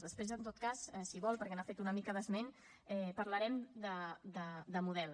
després en tot cas si vol perquè n’ha fet una mica d’esment parlarem de model